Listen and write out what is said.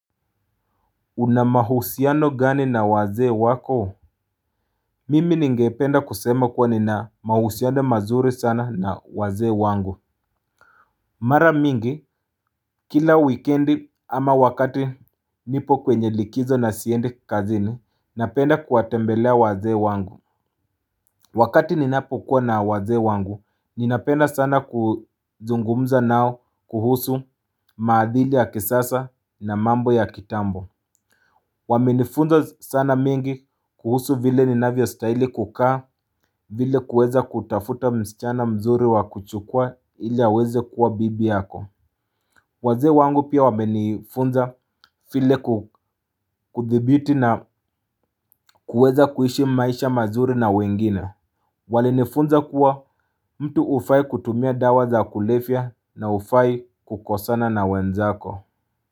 Unamahusiano gani na wazee wako? Mimi ningependa kusema kuwa nina mahusiano mazuri sana na waze wangu. Mara mingi, kila wikendi ama wakati nipo kwenye likizo na siendi kazini, napenda kuwatembelea wazee wangu. Wakati ninapo kuwa na wazee wangu, ninapenda sana kuzungumza nao kuhusu maadhili ya kisasa na mambo ya kitambo. Wame nifunza sana mingi kuhusu vile ninavyo stahili kukaa vile kuweza kutafuta msichana mzuri wa kuchukua ili aweze kuwa bibi yako. Wazee wangu pia wame nifunza file kuthibiti na kuweza kuishi maisha mazuri na wengine. Wali nifunza kuwa mtu ufai kutumia dawa za kulefia na ufai kukosana na wenzako.